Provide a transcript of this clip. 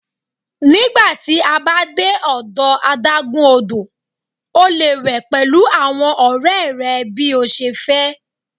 Nigba ti a ba de ọdọ adagun odo, o le we pẹlu awọn ọrẹ rẹ bi o ṣe fẹ